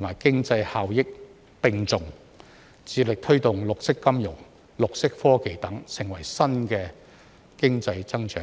與經濟效益並重，致力推動綠色金融、綠色科技等成為新經濟增長點。